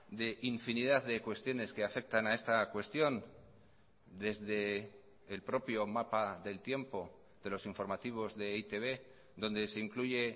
de infinidad de cuestiones que afectan a esta cuestión desde el propio mapa del tiempo de los informativos de e i te be donde se incluye